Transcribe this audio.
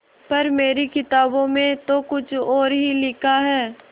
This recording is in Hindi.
पर मेरी किताबों में तो कुछ और ही लिखा है